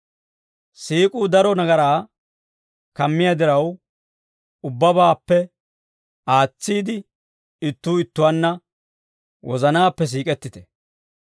Siik'uu daro nagaraa kammiyaa diraw, ubbabaappe aatsiide ittuu ittuwaanna wozanaappe siik'ettite.